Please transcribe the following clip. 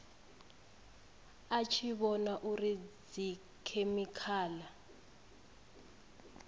a tshi vhona uri dzikhemikhala